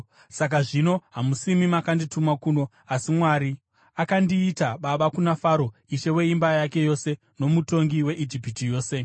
“Saka zvino, hamusimi makandituma kuno, asi Mwari. Akandiita baba kuna Faro, ishe weimba yake yose nomutongi weIjipiti yose.